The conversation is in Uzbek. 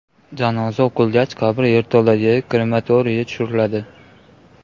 Janoza o‘qilgach, qabr yerto‘ladagi krematoriyga tushiriladi.